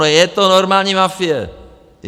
No je to normální mafie!